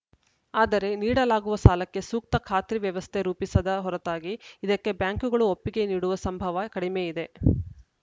ಆದರೆ ನೀಡಲಾಗುವ ಸಾಲಕ್ಕೆ ಸೂಕ್ತ ಖಾತ್ರಿ ವ್ಯವಸ್ಥೆ ರೂಪಿಸದ ಹೊರತಾಗಿ ಇದಕ್ಕೆ ಬ್ಯಾಂಕುಗಳು ಒಪ್ಪಿಗೆ ನೀಡುವ ಸಂಭವ ಕಡಿಮೆ ಇದೆ